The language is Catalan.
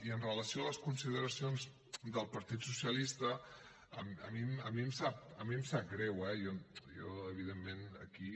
i amb relació a les consideracions del partit socialista a mi em sap greu eh jo evidentment aquí